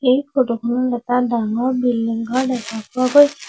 এই ফটো খনত এটা ডাঙৰ বিল্ডিং ঘৰ দেখা পোৱা গৈ--